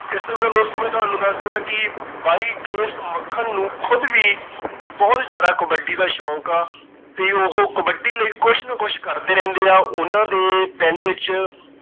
ਇਸ ਤੋਂ ਬਿਨਾਂ ਦੋਸਤੋ ਮੈਂ ਤੁਹਾਨੂੰ ਦੱਸ ਦੇਵਾਂ ਕਿ ਬਾਈ ਕੇ. ਐਸ. ਮੱਖਣ ਨੂੰ ਖੁਦ ਵੀ ਬਹੁਤ ਜਿਆਦਾ ਕਬੱਡੀ ਦਾ ਸ਼ੌਕ ਆ ਤੇ ਉਹ ਕਬੱਡੀ ਲਈ ਕੁਝ ਨਾ ਕੁਝ ਕਰਦੇ ਰਹਿੰਦੇ ਆਂ। ਉਹਨਾਂ ਦੇ ਪਿੰਡ ਵਿੱਚ